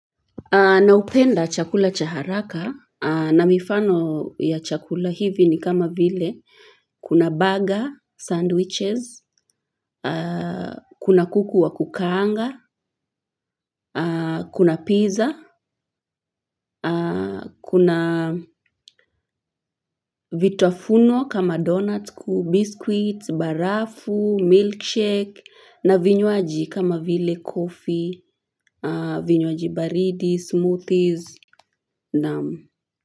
Na hupenda chakula cha haraka na mifano ya chakula hivi ni kama vile kuna burger, sandwiches kuna kuku wa kukaanga kuna 'pizza'. Kuna vitafuno kama donut biscuit, barafu, milkshake, na vinywaji kama vile coffee vinywaji baridi, smoothies, naam,